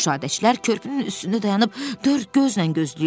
Müşahidəçilər körpünün üstündə dayanıb dörd gözlə gözləyirdilər.